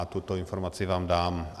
A tuto informaci vám dám.